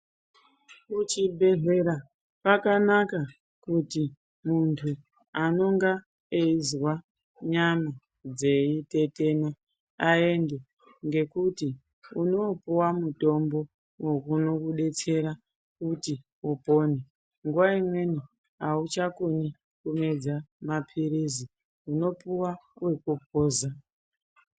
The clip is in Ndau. Kuchibhedhlera kwakanaka kuti muntu anonga eizwa nyama dzeitetena aende ngekuti unoopuwa mitombo wokuno unokudetsera kuti upone. Nguwa imweni auchakoni kumedza maphilizi, unopuwa wekuphuza.